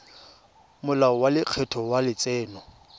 molao wa lekgetho wa letseno